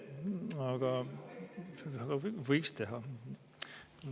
Aga võiks teha.